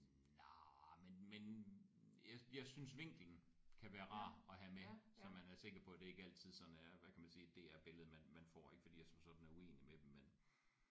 Nej men men jeg jeg synes vinklen kan være rar at have med så man er sikker på det ikke altid sådan er hvad kan man sige DR billedet man man får ikke fordi jeg som sådan er uenig med dem men